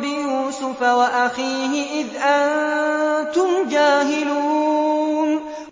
بِيُوسُفَ وَأَخِيهِ إِذْ أَنتُمْ جَاهِلُونَ